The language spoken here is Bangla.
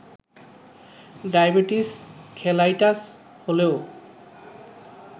ডায়াবেটিস খেলাইটাস হলেও